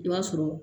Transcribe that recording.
I b'a sɔrɔ